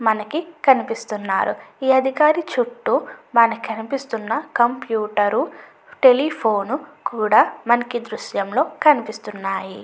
మనకి కనిపిస్తున్నారు ఈ అధికారి చుట్టూ మనకి కనిపిస్తూన్న కంప్యూటర్ టెలిఫోన్ కూడా మనకి ఈ దృశ్యంలో కనిపిస్తున్నాయి.